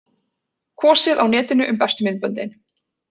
Kosið á netinu um bestu myndböndin